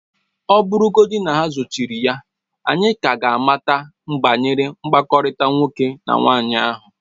Ọ bụrụgodị na ha ezochiri ya, anyị ka ga-amata banyere mkpakọrịta nwoke na nwaanyị ahụ